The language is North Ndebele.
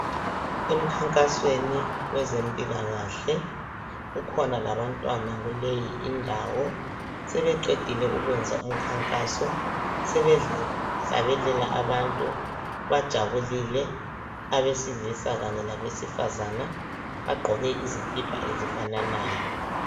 Emkhankasweni wezempilakahle kukhona labantwana kule indawo. Sebeqedile ukwenza umkhankaso sebezihlabelela abantu bajabulile abesilisa kanye labesifazana bagqoke izikipa ezifananayo.